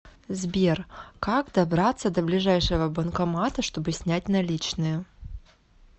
сбер как добраться до ближайшего банкомата чтобы снять наличные